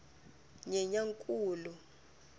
nyenyankulu